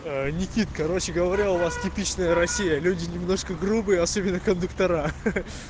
некит короче говоря у вас типичная россия люди немножко грубые особенно кондуктора